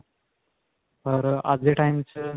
ਪਰ ਅੱਜ ਦੇ time 'ਚ.